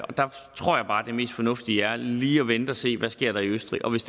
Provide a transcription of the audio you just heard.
tror bare at det mest fornuftige er lige at vente og se hvad der sker i østrig og hvis